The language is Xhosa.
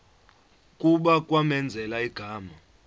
kuba kwamenzela igama